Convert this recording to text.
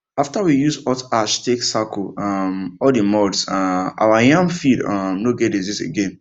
after we use hot ash take circle um all the mounds um our yam field um no get disease again